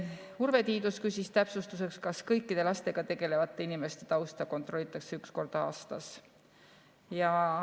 Urve Tiidus küsis täpsustuseks, kas kõikide lastega tegelevate inimeste tausta kontrollitakse üks kord aastas.